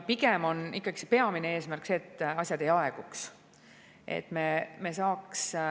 Pigem on ikkagi peamine eesmärk see, et asjad ei aeguks.